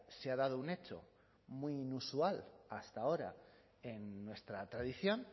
se ha dado un hecho muy inusual hasta ahora en nuestra tradición